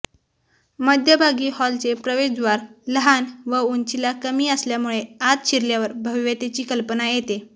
मध्यभागी हॉलचे प्रवेशद्वार लहान व उंचीला कमी असल्यामुळे आत शिरल्यावर भव्यतेची कल्पना येते